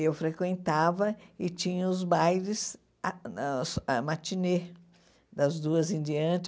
Eu frequentava e tinha os bailes, ah ãh a matinê das duas em diante.